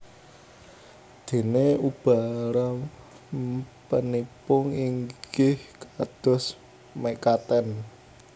Dènè ubarampènipun inggih kados mekaten